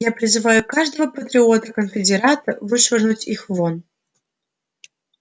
я призываю каждого патриота-конфедерата вышвырнуть их вон